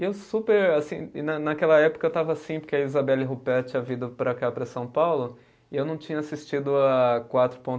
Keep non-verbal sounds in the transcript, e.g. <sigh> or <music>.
E eu super, assim, e na naquela época eu estava assim, porque a Isabelle Ruppert tinha vindo para cá, para São Paulo, e eu não tinha assistido a quatro <unintelligible>